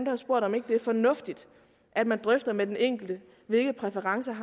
har spurgt om ikke det er fornuftigt at man drøfter med den enkelte hvilke præferencer